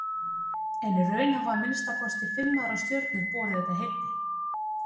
En í raun hafa að minnsta kosti fimm aðrar stjörnur borið þetta heiti.